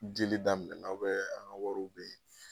Dili daminɛ aw ka wariw be yen ?